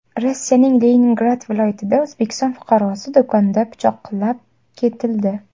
Rossiyaning Leningrad viloyatida O‘zbekiston fuqarosi do‘konda pichoqlab ketildi .